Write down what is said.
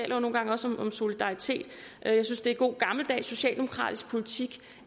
jo nogle gange også om solidaritet jeg synes det er god gammeldags socialdemokratisk politik